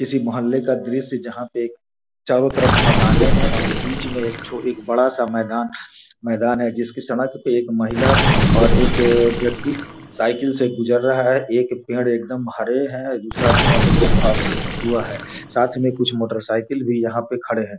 किसी मोहल्ले का दृस्य जहाँ पे चारों तरफ मकाने हैं और बीच में एक छोटी एक बड़ा सा मैदान मैदान है जिसकी सड़क में एक महिला और एक व्यक्ति साईकिल से गुजर रहा है। एक पेड़ एकदम हरे हैं दूसरा पेड़ एकदम सूखा हुआ है साथ ही में कुछ मोटर सइकिल भी यहाँ पे खड़े हुए हैं |